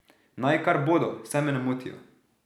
Naj kar bodo, saj me ne motijo.